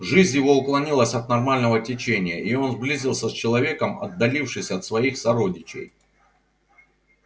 жизнь его уклонилась от нормального течения и он сблизился с человеком отдалившись от своих сородичей